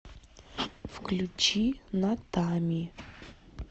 включи натами